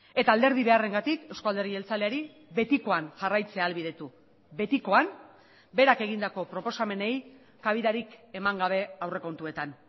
eta alderdi beharrengatik eusko alderdi jeltzaleari betikoan jarraitzea ahalbidetu betikoan berak egindako proposamenei kabidarik eman gabe aurrekontuetan